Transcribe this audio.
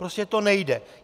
Prostě to nejde!